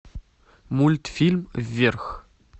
мультфильм вверх